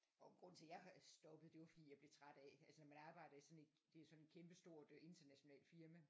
Og grunden til jeg stoppede det var fordi jeg blev træt af altså mit arbejde er sådan et det er sådan et kæmpe stort internationalt firma